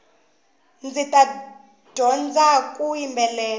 ndzita dyondzaku yimbelela